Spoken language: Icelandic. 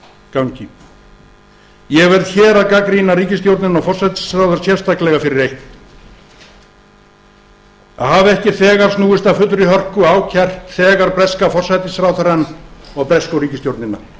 gangi ég verð hér að gagnrýna ríkisstjórnina og forsætisráðherrann sérstaklega fyrir eitt að hafa ekki þegar snúist að fullri hörku og ákært þegar breska forsætisráðherrann og bresku ríkisstjórnina